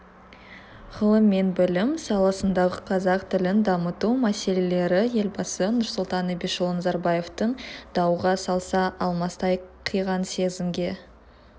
ғылым мен білім саласындағы қазақ тілін дамыту мәселелері елбасы нұрсұлтан әбішұлы назарбаевтың дауға салса-алмастай қиған сезімге